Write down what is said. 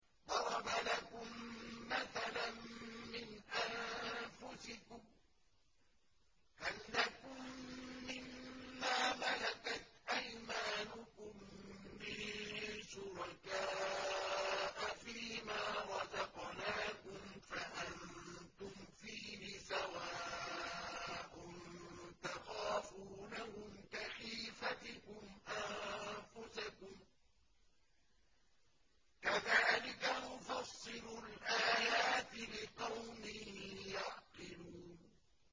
ضَرَبَ لَكُم مَّثَلًا مِّنْ أَنفُسِكُمْ ۖ هَل لَّكُم مِّن مَّا مَلَكَتْ أَيْمَانُكُم مِّن شُرَكَاءَ فِي مَا رَزَقْنَاكُمْ فَأَنتُمْ فِيهِ سَوَاءٌ تَخَافُونَهُمْ كَخِيفَتِكُمْ أَنفُسَكُمْ ۚ كَذَٰلِكَ نُفَصِّلُ الْآيَاتِ لِقَوْمٍ يَعْقِلُونَ